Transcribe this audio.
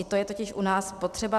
I to je totiž u nás potřeba.